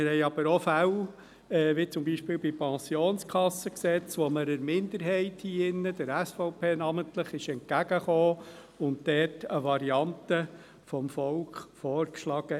Wir haben aber auch Fälle, wie bei der Pensionskassengesetzgebung, wo man der Minderheit hier drin, namentlich der SVP, entgegen kam und eine Variante vom Volk vorschlug.